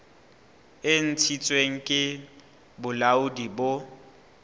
e ntshitsweng ke bolaodi bo